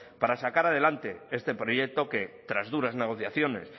para sacar adelante este proyecto que tras duras negociaciones